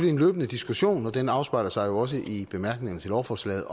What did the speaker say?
en løbende diskussion og den afspejler sig jo også i bemærkningerne til lovforslaget